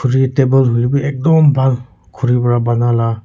Khuri table hoilebi ekdum bhal khuri pra bana la--